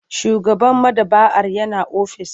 Shugaban maɗaba'ar yana ofis.